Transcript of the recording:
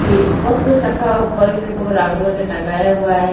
ये बहुत कुछ रखा है ऊपर भी देखो टंगाया हुआ है।